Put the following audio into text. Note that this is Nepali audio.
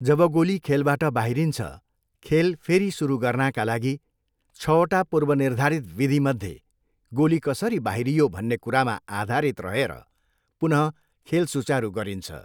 जब गोली खेलबाट बाहिरिन्छ, खेल फेरि सुरु गर्नाका लागि छवटा पूर्वनिर्धारित विधिमध्ये गोली कसरी बाहिरियो भन्ने कुरामा आधारित रहेर पुनः खेल सुचारु गरिन्छ।